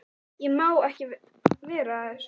Ég má ekki vera að þessu.